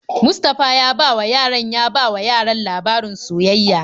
Mustapha ya bawa yaran ya bawa yaran labarin soyayya.